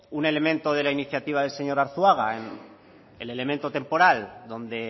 un elemento de la iniciativa del señor arzuaga el elemento temporal donde